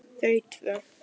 Þau tvö.